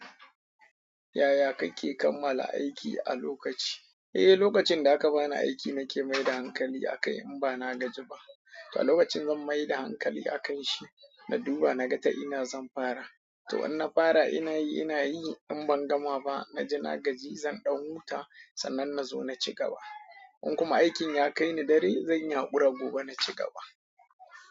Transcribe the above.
Yaya kake kammala aiki a lokaci? Eh, lokacin da aka bani aiki nake mai da hankali akai in bana gaji ba. To a lokacin zan mai da hankali a kan shi, na duba na ga ta ina zan fara. To in na fara ina yi ina yi in ban gama ba, na ji na gaji zan ɗau wuta sannan nazo na ci gaba. In kuma aikin ya kai ni dare, zan yi haƙura gobe na ci gaba.